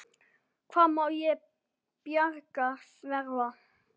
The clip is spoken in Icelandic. Hvað má til bjargar verða?